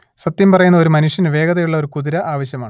സത്യം പറയുന്ന ഒരു മനുഷ്യന് വേഗതയുള്ള ഒരു കുതിര ആവശ്യമാണ്